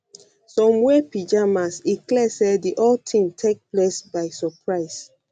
some wear pyjamas e clear say di whole tink take dem by suprise